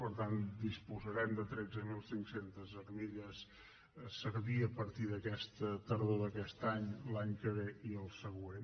per tant disposarem de tretze mil cinc cents armilles a servir a partir de la tardor d’aquest any l’any que ve i el següent